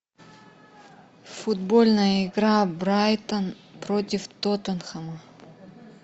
футбольная игра брайтон против тоттенхэма